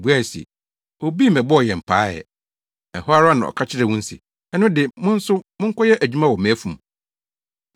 “Wobuae se, ‘Obi mmɛbɔɔ yɛn paa ɛ.’ “Ɛhɔ ara na ɔka kyerɛɛ wɔn se, ‘Ɛno de, mo nso monkɔyɛ adwuma wɔ mʼafum.’